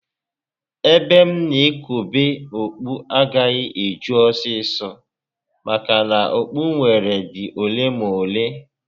Ebe m na ekobe okpu agaghị eju ọsọ ọsọ maka na okpu m nwere dị ole na ole